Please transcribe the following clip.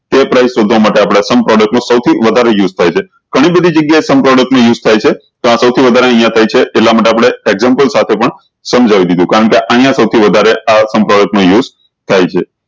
એ price શોધવા માટે આપળે sum product સૌ થી વધારે use થાય છે ઘણી બધી જગ્યા sum product ની use થાય છે સૌ થી વધારે અયીયા થાય છે એટલે માટે sum product સાથે પણ શામ્જાવી દીધું કારણ કે અયીયા સૌ થી વધારે sum product નું use થાય છે